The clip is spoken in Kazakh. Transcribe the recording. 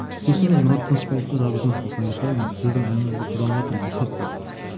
сосын мен мұрат тынышбаевқа жаздым осылай осылай мен сіздің әніңізді қолданыватырмын рұқсат па деп